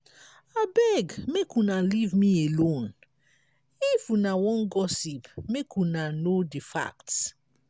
abeg make una leave me alone. if una wan gossip make una know the facts.